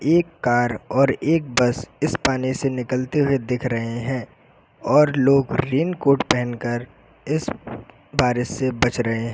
एक कार और एक बस इस पानी से निकलते हुए दिख रहे हैं और लोग रेनकोट पहनकर इस बारिश से बच रहे हैं।